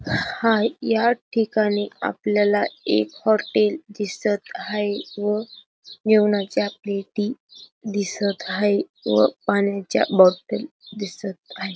हाय या ठिकाणी आपल्याला एक हाॅटेल दिसत हाय व जेवनाच्या प्लेटी दिसत हाय व पाण्याच्या बाॅटल दिसत आहे.